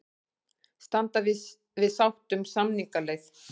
Standi við sátt um samningaleið